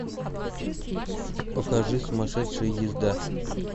покажи сумасшедшая езда